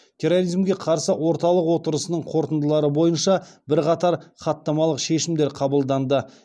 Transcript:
терроризмге қарсы орталық отырысының қорытындылары бойынша бірқатар хаттамалық шешімдер қабылданды